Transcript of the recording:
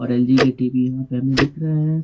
और एलजी के टीवी यहां पर हमें दिख रहे हैं।